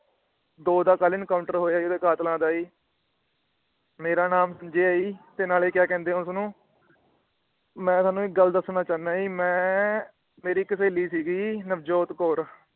ਦੋ ਦਾ ਕੱਲ ਐਨਕਾਊਂਟਰ ਹੋਇਆ ਉਹਦੇ ਕਾਤਲਾਂ ਦਾ ਈ। ਮੇਰਾ ਨਾਮ ਸੰਜੇ ਆ ਜੀ {नाले क्या} ਕਹਿੰਦੇ ਆ ਉਸਨੂੰ। ਮੈ ਤੁਹਾਨੂੰ ਇੱਕ ਗੱਲ ਦੱਸਣਾ ਚਾਹੁੰਦਾ ਆ। ਮੈ ਮੇਰੀ ਇਕ ਸਹੇਲੀ ਸੀ ਨਵਜੋਤ ਕੌਰ